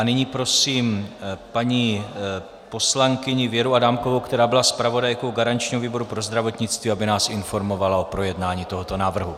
A nyní prosím paní poslankyni Věru Adámkovou, která byla zpravodajkou garančního výboru pro zdravotnictví, aby nás informovala o projednání tohoto návrhu.